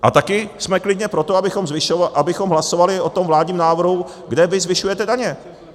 A taky jsme klidně pro to, abychom hlasovali o tom vládním návrhu, kde vy zvyšujete daně.